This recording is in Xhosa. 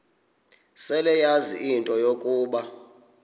seleyazi into yokuba